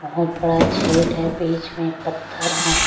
बहुत बड़ा झेड है बीच में पत्थर है।